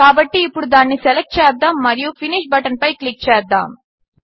కాబట్టి ఇప్పుడు దానిని సెలెక్ట్ చేద్దాము మరియు ఫినిష్ బటన్పై క్లిక్ చేద్దాము